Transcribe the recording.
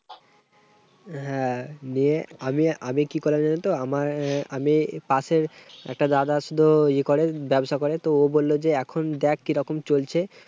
হ্যাঁ, নিয়ে আমি আমি কি করি জানো তো, আমার আমি পাশের একটা দাদা আছিলো। ইয়ে করে ব্যবসা করে, তো ও বললো যে দেখ এখন কি রকম চলছে?